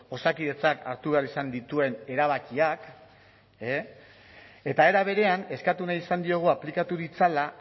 osakidetzak hartu behar izan dituen erabakiak eta era berean eskatu nahi izan diogu aplikatu ditzala